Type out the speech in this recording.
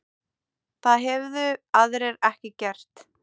Það hefðu aðrir ekki gert